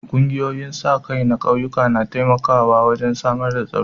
Ƙungiyoyin sa-kai na ƙauyuka na taimakawa wurin samar da tsaro.